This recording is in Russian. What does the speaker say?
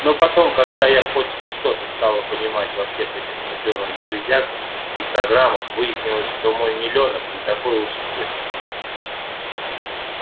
но потом когда я хоть что-то стала понимать во всех этих мудрёных железках и программах выяснилось что мой милёнок не такой уж и спец